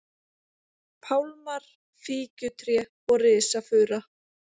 pálmar, fíkjutré og risafura.